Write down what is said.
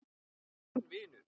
Minn vinur.